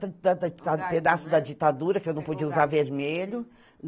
pedaço da ditadura, que eu não podia usar vermelho.